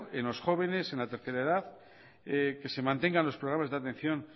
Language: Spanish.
en los jóvenes en la tercera edad que se mantengan los programas de atención